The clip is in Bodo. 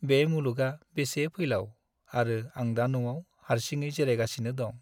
बे मुलुगआ बेसे फैलाव आरो आं दा न'आव हारसिङै जिरायगासिनो दं।